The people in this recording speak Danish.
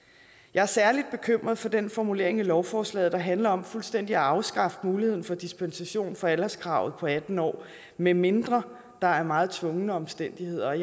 jeg er særlig bekymret for den formulering i lovforslaget der handler om fuldstændig at afskaffe muligheden for dispensation fra alderskravet på atten år medmindre der er meget tvingende omstændigheder